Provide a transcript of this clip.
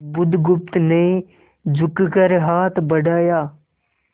बुधगुप्त ने झुककर हाथ बढ़ाया